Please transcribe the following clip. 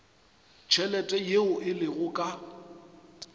tšhelete yeo e lego ka